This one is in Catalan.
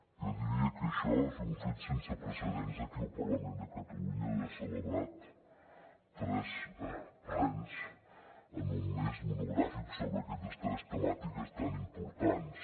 jo diria que això és un fet sense precedents aquí al parlament de catalunya haver celebrat tres plens en un mes monogràfics sobre aquestes tres temàtiques tan importants